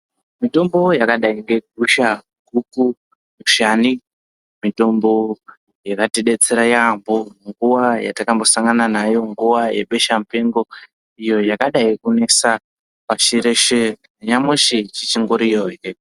Mitombo yakadai nge gusha, guku ,mushani mitombo yakatidetsera maningi munguwa yatakambosangana nayo nguwa yebeshamupengo iyo yakadai kunesa pashireshe ,nyamushi dzichingoriyo zve.